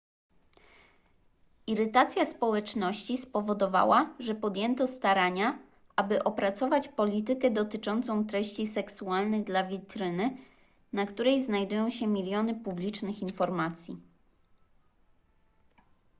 irytacja społeczności spowodowała ze podjęto starania aby opracować politykę dotyczącą treści seksualnych dla witryny na której znajdują się miliony publicznych informacji